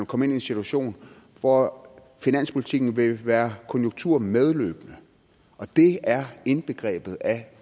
komme ind i en situation hvor finanspolitikken ville være konjunkturmedløbende og det er indbegrebet af